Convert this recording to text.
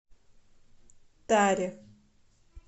таре